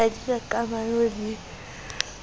ha di na kamano le